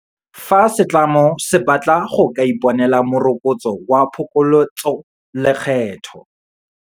Fa setlamo se batla go ka iponela Moroko tso wa Phokoletsolekgetho